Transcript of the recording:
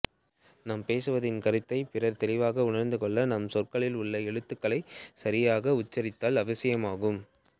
நாம் பேசுவதன் கருத்தைப் பிறர் தெளிவாக உணர்ந்துகொள்ள நாம் சொற்களில் உள்ள எழுத்துக்களைச் சரியாக உச்சரித்தல் அவசியமாகும்